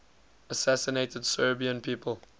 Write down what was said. assassinated serbian people